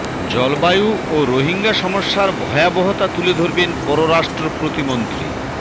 জলবায়ু ও রোহিঙ্গা সমস্যার ভয়াবহতা তুলে ধরবেন পররাষ্ট্র প্রতিমন্ত্রী